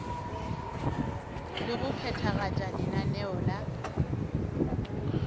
le go phethagatša lenaneo la